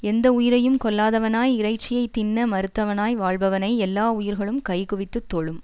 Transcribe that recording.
எந்த உயிரையும் கொல்லாதவனாய் இறைச்சியை தின்ன மறுத்தவனாய் வாழ்பவனை எல்லா உயிர்களும் கை குவித்துத் தொழும்